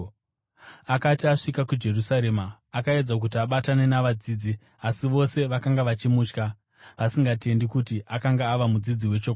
Akati asvika kuJerusarema akaedza kuti abatane navadzidzi, asi vose vakanga vachimutya, vasingatendi kuti akanga ava mudzidzi wechokwadi.